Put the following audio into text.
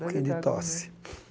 Um pouquinho de tosse